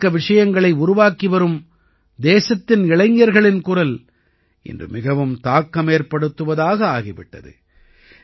உள்ளடக்க விஷயங்களை உருவாக்கிவரும் தேசத்தின் இளைஞர்களின் குரல் இன்று மிகவும் தாக்கமேற்படுத்துவதாக ஆகி விட்டது